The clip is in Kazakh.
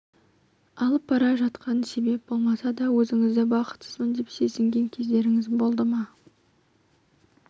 алып бара жатқан себеп болмаса да өзіңізді бақытсызбын деп сезінген кездеріңіз болды ма